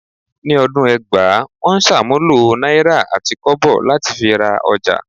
Ni ọdún ẹgbàá, wọ́n ń ṣàmúlò náírà àti kọ́bọ̀ láti fi ra ọjà